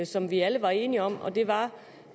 som vi alle var enige om og det var